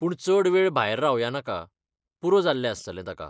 पूण चड वेळ भायर रावया नाका, पुरो जाल्लें आसतलें ताका.